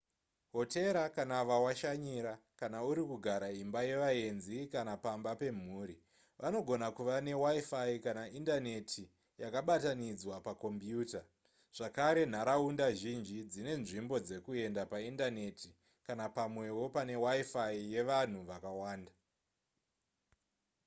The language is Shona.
hotera kana vawashanyira kana uri kugara imba yevaenzi kana pamba pemhuri vanogona kuva newifi kana indaneti yakabatanidzwa pakombiuta zvakare nharaunda zhinji dzine nzvimbo dzekuenda paindaneti kana pamwewo pane wifi yevanhu vakawanda